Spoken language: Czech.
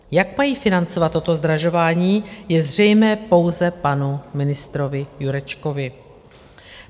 Jak mají financovat toto zdražování, je zřejmé pouze panu ministrovi Jurečkovi.